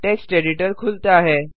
text editor खुलता है